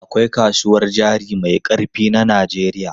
Akwai kasuwar jari mai ƙarfi na Najeriya.